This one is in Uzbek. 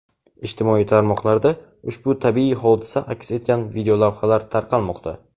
Ijtimoiy tarmoqlarda ushbu tabiiy hodisa aks etgan videolavhalar tarqalmoqda.